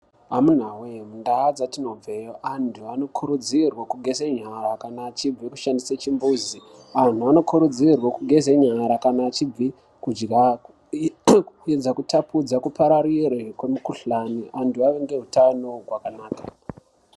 Amunawee mundaa dzatino bveyo antu anokurudzirwa kushambe nyara kana vachibva kushandise chimbuzi anhu anokurudzirwa kugezenyara kana achibva kurya kuedza kutapudza kupararire kwemukuhlani antu ave neutano hwakanaka.